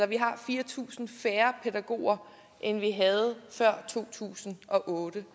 vi har fire tusind færre pædagoger end vi havde før to tusind og otte